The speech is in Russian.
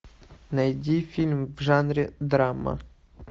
найди фильм в жанре драма